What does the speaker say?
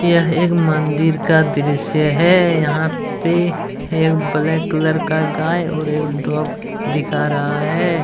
यह एक मंदिर का दृस्य है। यहां पे एक ब्लैक कलर का गाय और एक डॉग दिखा रहा है।